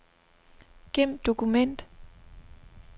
Gem dokument.